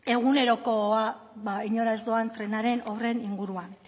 egunerokoa inora ez doan trenaren horren inguruan